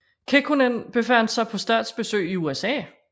Kekkonen befandt sig på statsbesøg i USA